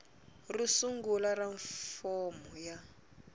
ro sungula ra fomo ya